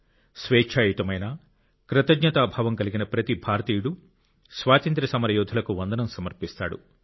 స్వేచ్ఛాయుతమైన కృతజ్ఞతాభావం కలిగిన ప్రతి భారతీయుడు స్వాతంత్ర్య సమరయోధులకు వందనం సమర్పిస్తాడు